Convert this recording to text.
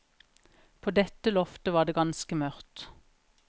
På dette loftet var det ganske mørkt.